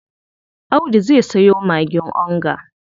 Audu zai sayo magin onga.